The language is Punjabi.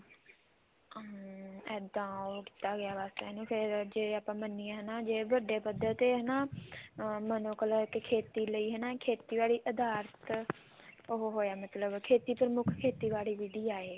ਹਮ ਇੱਦਾਂ ਉਹ ਕੀਤਾ ਗਿਆ ਬੱਸ ਜੇ ਆਪਾਂ ਮੰਨੀਏ ਜੇ ਇਹਨੂੰ ਵੱਡੇ ਪੱਧਰ ਤੇ ਹਨਾ ਜੇ ਖੇਤੀ ਲਈ ਹਨਾ ਖੇਤੀਬਾੜੀ ਅਧਾਰਿਤ ਉਹ ਹੋਇਆ ਮਤਲਬ ਖੇਤੀ ਪ੍ਰ੍ਮੁੱਖ ਖੇਤੀਬਾੜੀ ਵਿਧੀ ਆ ਇਹ